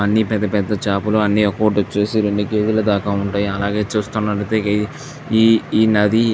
అన్నీ పెద్ద పెద్ద చేపలు అన్నీ ఒక్కోటి వచ్చేసి రెండు కేజీల వరకు ఉంటాయి. అలాగే చూస్తున్నట్లయితే ఈఈ నది --